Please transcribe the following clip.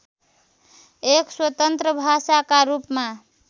एक स्वतन्त्र भाषाका रूपमा